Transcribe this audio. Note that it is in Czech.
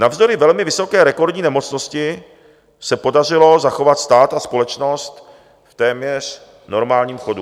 Navzdory velmi vysoké, rekordní nemocnosti se podařilo zachovat stát a společnost v téměř normálním chodu.